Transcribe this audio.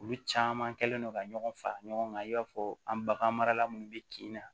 Olu caman kɛlen do ka ɲɔgɔn fara ɲɔgɔn kan i b'a fɔ an bagan marala minnu bɛ kin na